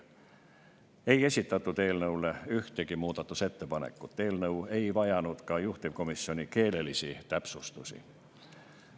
Ei esitatud ühtegi muudatusettepanekut, eelnõu ei vajanud ka juhtivkomisjoni keelelisi täpsustusi.